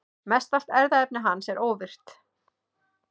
Mestallt erfðaefni hans er óvirkt.